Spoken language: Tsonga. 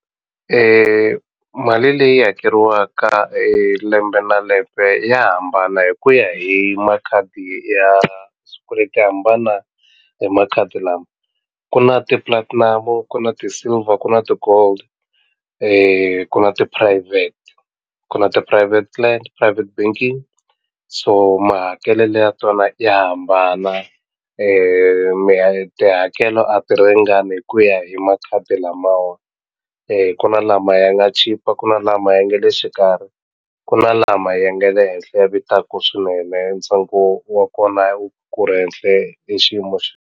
Mali leyi hakeriwaka lembe na lembe ya hambana hi ku ya hi makhadi ya swikweleti ya hambana hi makhadi lama ku na ti-platinum ku na ti-silver ku na ti-gold ku na ti-private ku na ti-private private banking so mahakelelo ya tona ya hambana tihakelo a ti ringani hi ku ya hi makhadi lamawa kuna lama ya nga chipa ku na lama ya nge le xikarhi ku na lama ya nga le henhle ya vitaka swinene ntsengo wa kona ku ri henhle i xiyimo .